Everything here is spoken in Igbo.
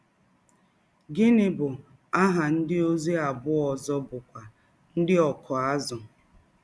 Gịnị bụ aha ndịozi abụọ ọzọ bụ́kwa ndị ọkụ azụ̀?